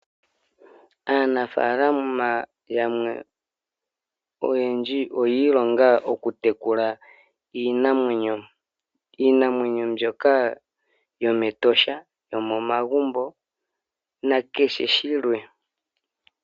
Aanafalama oyendji oyi ilonga okutekula iinamwenyo. Iinamwenyo mbyoka yomEtosha, yomomagumbo nakehe shilwe.